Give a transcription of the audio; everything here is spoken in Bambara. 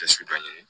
Tɛsu dɔ ɲini